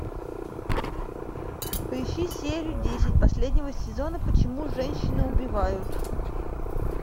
поищи серию десять последнего сезона почему женщины убивают